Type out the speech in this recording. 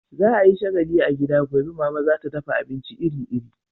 Za a yi shagalli a gida gobe, Mama za ta dafa abinci iri-iri.